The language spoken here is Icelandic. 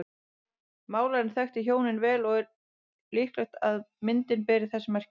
Málarinn þekkti hjónin vel og er líklegt að myndin beri þess merki.